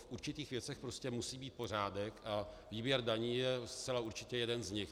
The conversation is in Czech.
V určitých věcech prostě musí být pořádek a výběr daní je zcela určitě jeden z nich.